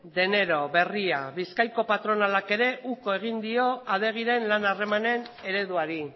de enero berria bizkaiko patronalak ere uko egin dio adegiren lan harremanen ereduari